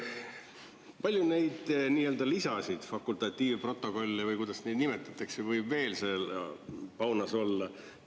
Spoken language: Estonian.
Palju neid lisasid, fakultatiivprotokolle või kuidas neid nimetatakse, võib veel seal paunas olla?